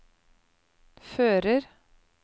fører